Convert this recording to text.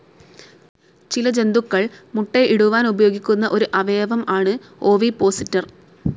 ചില ജന്തുക്കൾ മുട്ട ഇടുവാൻ ഉപയോഗിക്കുന്ന ഒരു അവയവം ആണ് ഓവിപ്പോസിറ്റർ.